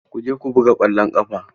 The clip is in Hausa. Ku je ku buga ƙwallon ƙafa!